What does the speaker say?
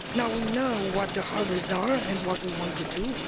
We know what the hurdles are and what we want to do.